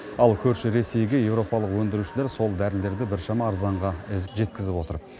ал көрші ресейге еуропалық өндірушілер сол дәрілерді біршама арзанға жеткізіп отыр